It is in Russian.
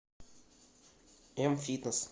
м фитнес